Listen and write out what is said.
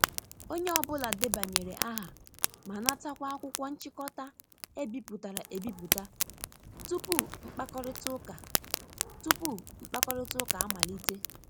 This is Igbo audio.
Onye ọ bụla debanyere aha ma natakwa akwụkwọ nchịkọta e bipụtara e biputa tupu mkpakorịta tupu mkpakorịta ụka amalite.